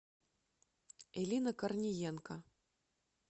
элина корниенко